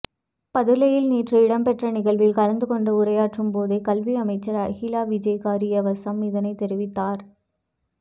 பதுளையில் நேற்று இடம்பெற்ற நிகழ்வில் கலந்து கொண்டு உரையாற்றும் போதே கல்வி அமைச்சர் அகில விராஜ்காரியவசம் இதனை தெரிவித்தார்